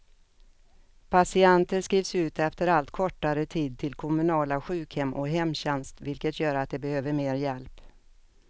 Patienter skrivs ut efter allt kortare tid till kommunala sjukhem och hemtjänst, vilket gör att de behöver mer hjälp.